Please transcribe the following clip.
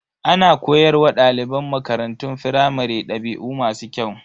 Ana koyar wa daliban makarantun firamare dabi'u masu kyau.